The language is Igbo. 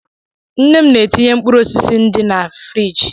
Nne m na-etinye mkpụrụ osisi ndị ná friji.